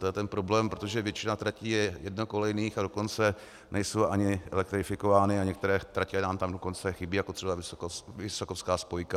To je ten problém, protože většina tratí je jednokolejných, a dokonce nejsou ani elektrifikovány a některé tratě nám tam dokonce chybí, jako třeba Vysokovská spojka.